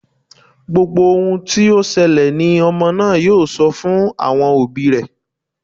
Gbogbo ohun tí ó ṣẹlẹ̀ ni ọmọ náà yóò sọ fún àwọn òbí rẹ.